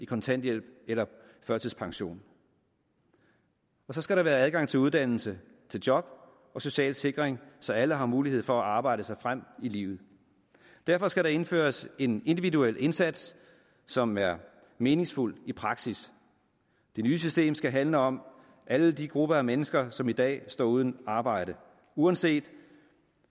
kontanthjælp eller førtidspension og så skal der være adgang til uddannelse til job og social sikring så alle har mulighed for at arbejde sig frem i livet derfor skal der indføres en individuel indsats som er meningsfuld i praksis det nye system skal handle om alle de grupper af mennesker som i dag står uden arbejde uanset